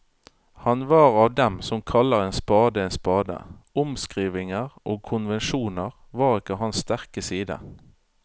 Han var av dem som kaller en spade en spade, omskrivninger og konvensjoner var ikke hans sterke side.